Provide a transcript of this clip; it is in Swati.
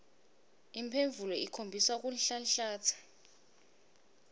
imphendvulo ikhombisa kunhlanhlatsa